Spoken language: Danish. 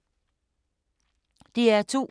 DR2